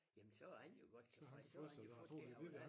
Jamen så er han jo godt tilfreds så har han jo fået det han ville have